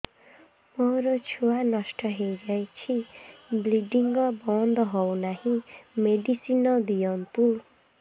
ମୋର ଛୁଆ ନଷ୍ଟ ହୋଇଯାଇଛି ବ୍ଲିଡ଼ିଙ୍ଗ ବନ୍ଦ ହଉନାହିଁ ମେଡିସିନ ଦିଅନ୍ତୁ